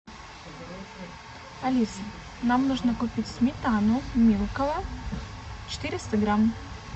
алиса нам нужно купить сметану милково четыреста грамм